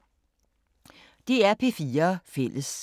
DR P4 Fælles